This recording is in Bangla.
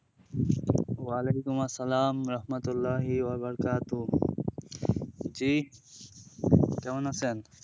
ওয়ালাইকুম আসসালামু রাহমাতুল্লাহি ওয়া বারাকাতুহ জি কেমন আছেন?